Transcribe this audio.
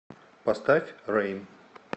поставь рэйм